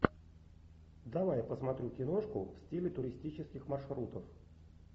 давай я посмотрю киношку в стиле туристических маршрутов